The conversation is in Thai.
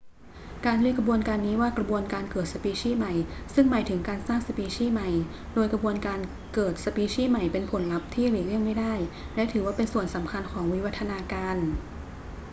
เราเรียกกระบวนการนี้ว่ากระบวนการเกิดสปีชีส์ใหม่ซึ่งหมายถึงการสร้างสปีชีส์ใหม่ โดยกระบวนการเกิดสปีชีส์ใหม่เป็นผลลัพธ์ที่หลีกเลี่ยงไม่ได้และถือว่าเป็นส่วนสำคัญของวิวัฒนาการ